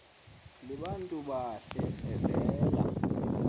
libantu bahle evela